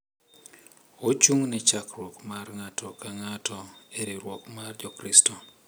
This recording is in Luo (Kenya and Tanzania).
Ochung’ ne chakruok mar ng’ato ka ng’ato e riwruok mar Jokristo.